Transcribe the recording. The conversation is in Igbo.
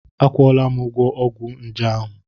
Akwụọla m ụgwọ ọgwụ nje ahụ.